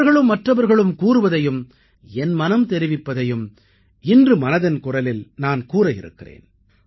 அவர்களும் மற்றவர்களும் கூறுவதையும் என் மனம் தெரிவிப்பதையும் இன்று மனதின் குரலில் நான் கூறவிருக்கிறேன்